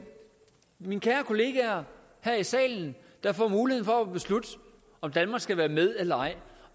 mine kære kolleger her i salen der får mulighed for at beslutte om danmark skal være med eller ej